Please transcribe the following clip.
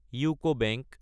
UCO bank